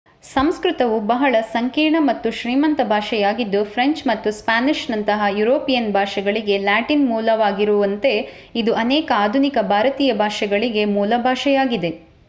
ಸಂಸ್ಕೃತವು ಬಹಳ ಸಂಕೀರ್ಣ ಮತ್ತು ಶ್ರೀಮಂತ ಭಾಷೆಯಾಗಿದ್ದು ಫ್ರೆಂಚ್ ಮತ್ತು ಸ್ಪ್ಯಾನಿಷ್‌ನಂತಹ ಯುರೋಪಿಯನ್ ಭಾಷೆಗಳಿಗೆ ಲ್ಯಾಟಿನ್ ಮೂಲವಾಗಿಗಿರುವಂತೆ ಇದು ಅನೇಕ ಆಧುನಿಕ ಭಾರತೀಯ ಭಾಷೆಗಳಿಗೆ ಮೂಲಭಾಷೆಯಾಗಿದೆ,